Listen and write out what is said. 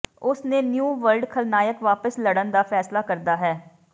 ਉਸ ਨੇ new world ਖਲਨਾਇਕ ਵਾਪਸ ਲੜਨ ਦਾ ਫੈਸਲਾ ਕਰਦਾ ਹੈ